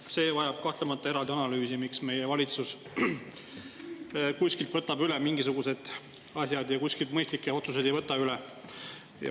Noh, see vajab kahtlemata eraldi analüüsi, miks meie valitsus kuskilt võtab üle mingisugused asjad ja kuskilt mõistlikke otsuseid ei võta üle.